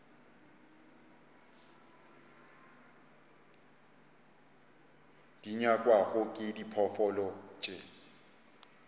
di nyakwago ke diphoofolo tše